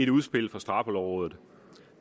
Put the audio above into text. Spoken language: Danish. udspil fra straffelovrådet